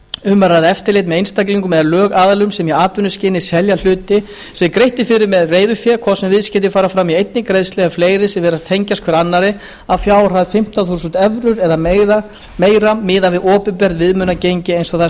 um er að ræða eftirlit með einstaklingum eða lögaðilum sem í atvinnuskyni selja hluti sem greitt er fyrir með reiðufé hvort sem viðskiptin fara fram í einni greiðslu eða fleiri sem virðast tengjast hver annarri að fjárhæð fimmtán þúsund evrur eða meira miðað við opinbert viðmiðunargengi eins og það er